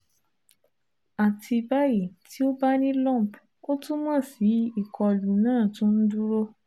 Ati bayi ti o ba ni a lump o tumọ si ikolu naa tun n duro